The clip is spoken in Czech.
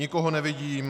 Nikoho nevidím.